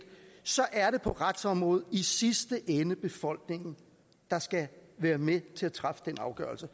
så er det på retsområdet i sidste ende befolkningen der skal være med til at træffe den afgørelse